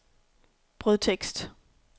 brødtekst